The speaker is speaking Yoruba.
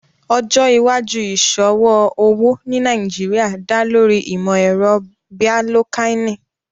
Ọjọ́ iwàjúù iṣọwọ owo ní Nàìjíríà dá lórí ìmọ̀-ẹ̀rọ̀ bíalòkàinì